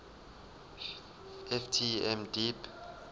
ft m deep